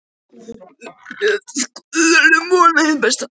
Við skulum vona hið besta, sagði Álfur hughreystandi.